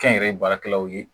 Kɛnyɛrɛye baarakɛlaw ye